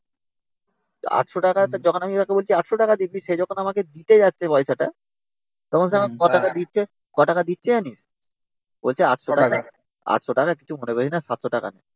eight hundred টাকা তা যখন আমি তাকে বলছি eight hundred টাকা দে। সে যখন আমাকে দিতে যাচ্ছে পয়সাটা তখন সে আমাকে ক টাকা দিচ্ছে জানিস? eight hundred টাকা, eight hundred টাকা কিছু মনে করিস না, seven hundred টাকা নে